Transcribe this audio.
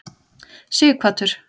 Sighvatur